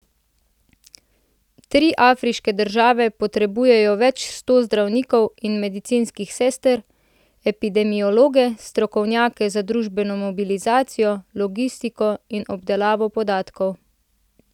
Tri afriške države potrebujejo več sto zdravnikov in medicinskih sester, epidemiologe, strokovnjake za družbeno mobilizacijo, logistiko in obdelavo podatkov.